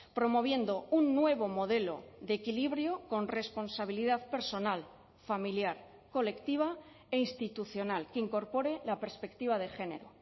promoviendo un nuevo modelo de equilibrio con responsabilidad personal familiar colectiva e institucional que incorpore la perspectiva de género